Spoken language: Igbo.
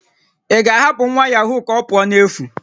Ị ga-ahapụ nwa yahoo ka ọ pụọ n'efu?